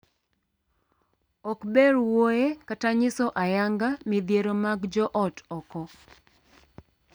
Ok ber wuoye kata nyiso ayanga midhiero mag joot oko.